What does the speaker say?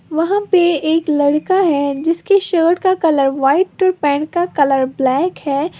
वहां पे एक लड़का है जिसके शर्ट का कलर व्हाइट और पैंट का कलर ब्लैक है।